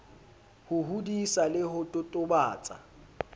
ho hodisa le ho totobatsa